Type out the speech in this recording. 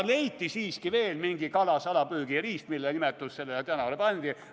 Leiti siiski veel mingi kala salapüügiriist, mille nimetus sellele tänavale pandi.